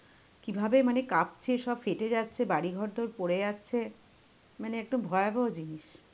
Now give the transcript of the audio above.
কিভাবে মানে কাঁপছে, সব ফেটে যাচ্ছে, বাড়ি ঘরদোর পড়ে যাচ্ছে. মানে একদম ভয়াবহ জিনিস.